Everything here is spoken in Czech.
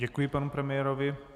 Děkuji panu premiérovi.